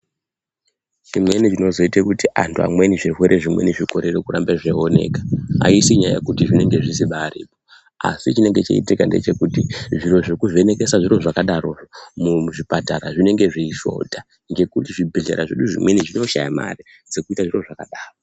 Zvimweni zvinozoita kuti amweni zvirwere zvizokona kurapwa zvinoda kuramba zveioneka aisi nyaya yekuti zvinenge zvisiri asi chinenge cheitika ndechekuti zviro zvekuvhenekesa zviro zvakadaro muzvipatara zvinenge zveishota nekuti muzvibhedhlera nezvimweni zvinoshayanmare yekuita zvakadaro.